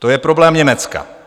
To je problém Německa.